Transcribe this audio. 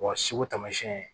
tamasiyɛn